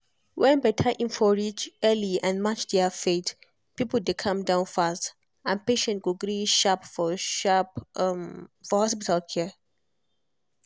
when better info reach early and match their faith people dey calm down fast and patient go gree sharp for sharp for hospital care.